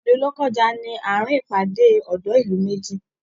Ilú Lọ́kọ́ja ni àárin ìpàdé odo ìlú méjì.